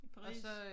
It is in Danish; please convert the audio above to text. I Paris?